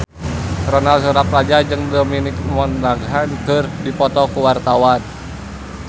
Ronal Surapradja jeung Dominic Monaghan keur dipoto ku wartawan